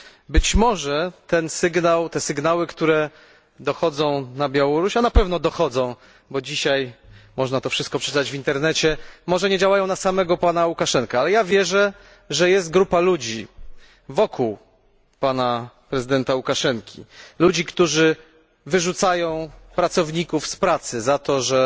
Być może te sygnały, które dochodzą na Białoruś a na pewno dochodzą, bo dzisiaj można to wszystko przeczytać w internecie może nie działają na samego pana Łukaszenkę, ale ja wierzę, że jest grupa ludzi wokół pana prezydenta Łukaszenki, którzy wyrzucają pracowników z pracy za to, że